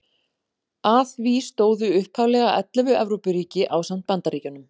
Að því stóðu upphaflega ellefu Evrópuríki ásamt Bandaríkjunum.